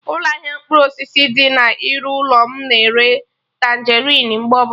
Ụlọ ahịa mkpụrụ osisi dị na iru ụlọ mụ na-ere Tanjerịn mgbe ọbụla